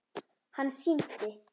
Hann sýndi